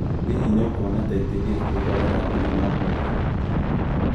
Hihi nĩ ũkuona ta ingĩthiĩ kwĩrorera thenema ũmũthĩ